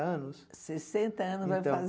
anos? Sessenta anos, vai